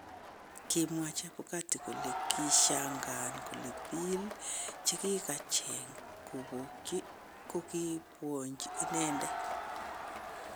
Kimwaa Chebukati kole kishangaan kole piil chekikacheng kopokchi kokipwonchi inendet